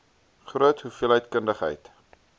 groot hoeveelheid kundigheid